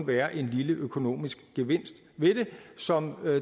være en lille økonomisk gevinst ved det som